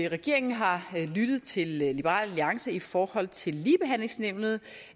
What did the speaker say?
regeringen har lyttet til liberal alliance i forhold til ligebehandlingsnævnet